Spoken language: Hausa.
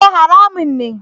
E! haramun ne.